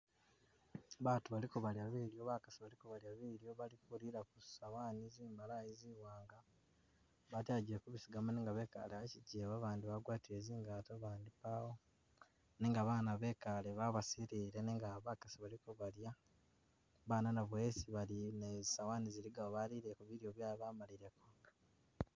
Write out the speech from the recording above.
Baatu balko bali kulya bakasi baliko balya bilyo bali kulila kuzisawani zimbalayi ziwanga batelagile kuzisigamo nenga bekaale akijewa babandi bagwatile zingato babandi kaawo nenga abaana bekaale babasilile nenga bakasi bali ko balya, abaana nabo esi bali naye zisowani zilikayo balile bilyo byabwe bamalileko.